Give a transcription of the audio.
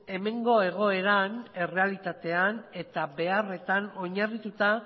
hemengo egoeran errealitatean eta beharretan oinarrituta